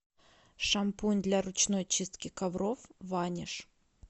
шампунь для ручной чистки ковров ваниш